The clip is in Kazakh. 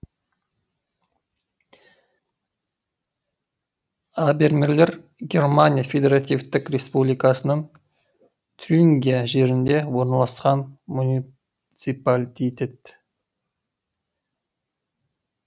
абермелер германия федеративтік республикасының тюрингия жерінде орналасқан муниципалтитет